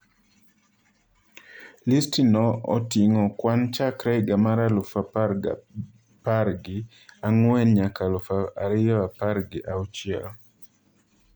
Listi no oting'o kwan chakre higa mar aluf ariyo apargi ang'wen nyaka aluf ariyo apargi auchiel.